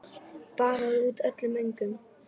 Baðaði út öllum öngum.